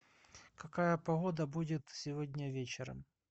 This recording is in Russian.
какая погода будет сегодня вечером